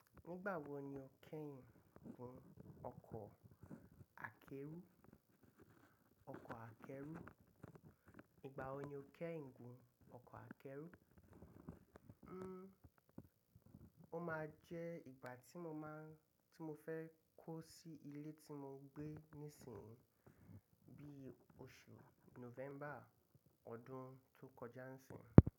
Nigba wo ni o keyin fo ọkọ akeru. Nígbà wo ni o kẹ́yìn gùn ọkọ̀ akẹ́rù? O máa jẹ́ ìgbà tí mo fẹ́ kó sí ilé tí mo gbé nísìnyí, bí i oṣù November ọdún tó kọjá ń sì.